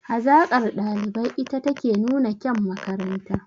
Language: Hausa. Hazaƙar ɗalibai ita take nuna kyan makaranta